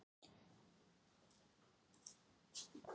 Ekki viss Grófasti leikmaður innan félagsins?